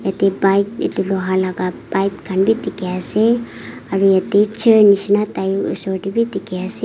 yate bike etu loha laga pipe khan bhi dikhi ase aru yate chair nisna tai oshor teh bhi dikhi ase.